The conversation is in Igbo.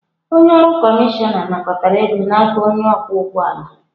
Onye ọrụ kọmishọna nakọtara ego n'aka onye ọkwọ ụgbọ ala.